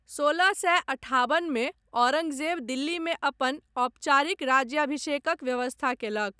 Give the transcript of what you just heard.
सोलह सए अठाबनमे औरङ्गजेब दिल्लीमे अपन औपचारिक राज्याभिषेकक व्यवस्था कयलक।